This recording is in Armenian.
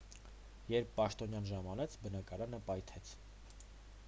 երբ պաշտոնյան ժամանեց բնակարանը պայթեց